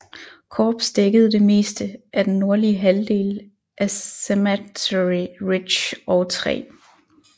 Korps dækkede det meste af den nordlige halvdel af Cemetery Ridge og 3